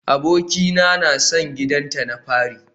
Abokina na son gidanta na fari